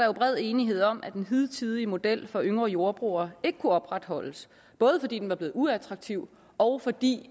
er bred enighed om at den hidtidige model for yngre jordbrugere ikke kunne opretholdes både fordi den var blevet uattraktiv og fordi